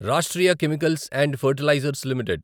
Rashtriya chemicals and fertilizers limited